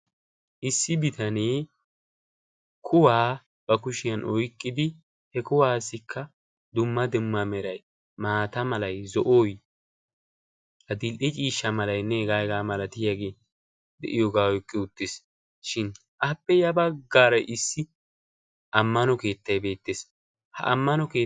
issi bitanee kuwaa ba kushiyan oyqqidi he kuwaassikka dumma demma meray maata malay zo'oy adil''i ciishsha malaynne hega aygaa malatiyaagee de'iyoogaa oyqqi uttees shin appe ya baggaara issi ammano keettay beettees ha amano